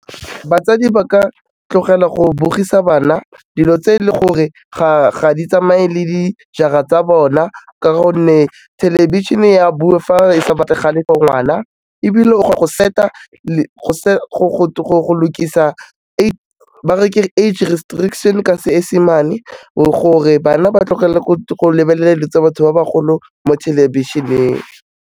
Batsadi ba ka tlogela go bogisa bana dilo tse e le gore ga di tsamaye le dijara tsa bona ka gonne, thelebišene ya bua fa e sa batlagale gore nngwana ebile ga go set-a go lokisa age restriction ka Seesemane gore bana ba tlogele go lebelela dilo tsa batho ba bagolo mo thelebišeneng.